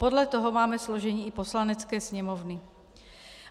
Podle toho máme složení i Poslanecké sněmovny.